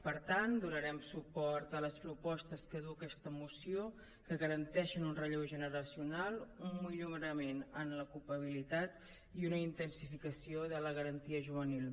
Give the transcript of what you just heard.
per tant donarem suport a les propostes que du aquesta moció que garanteixen un relleu generacional un millorament en l’ocupabilitat i una intensificació de la garantia juvenil